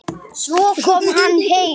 Svo kom hann heim.